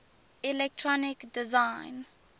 electronic design